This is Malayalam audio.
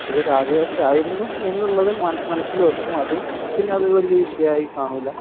അത് ഒരു ആദിവാസി ആയിരുന്നു എന്നത് മനസ്സിൽ വെക്കും പിന്നെ അത് ഒരു വലിയ വിഷയമായി കാണൂല